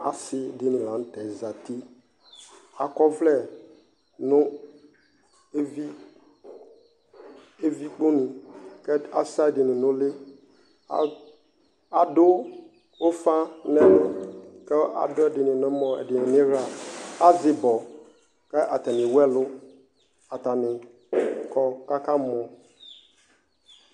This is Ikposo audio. Asi dini la n'tɛ zati, ak'ɔvlɛ nʋ evi, evi kponu k'as ɛdini n'uli, adʋ ʋfa n'ɛlʋ k'adʋ ɛdini n'ɛmɔ, ɛdini n'iɣla Az'ibɔ k'atani ewu ɛlʋ, atani kɔ k'aka mɔ